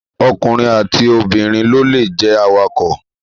Ọkùnrin àti obìnrin ló lè jẹ awakọ̀